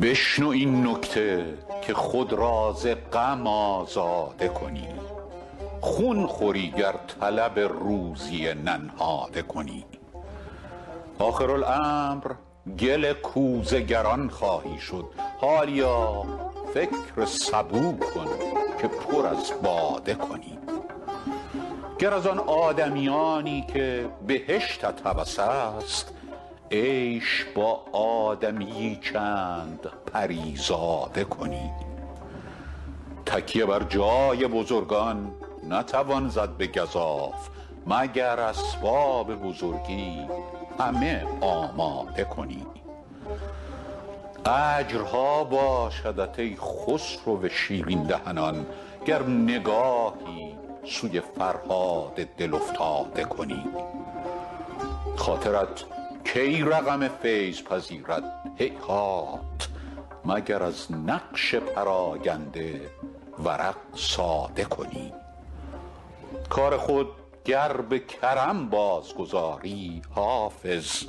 بشنو این نکته که خود را ز غم آزاده کنی خون خوری گر طلب روزی ننهاده کنی آخرالامر گل کوزه گران خواهی شد حالیا فکر سبو کن که پر از باده کنی گر از آن آدمیانی که بهشتت هوس است عیش با آدمی یی چند پری زاده کنی تکیه بر جای بزرگان نتوان زد به گزاف مگر اسباب بزرگی همه آماده کنی اجرها باشدت ای خسرو شیرین دهنان گر نگاهی سوی فرهاد دل افتاده کنی خاطرت کی رقم فیض پذیرد هیهات مگر از نقش پراگنده ورق ساده کنی کار خود گر به کرم بازگذاری حافظ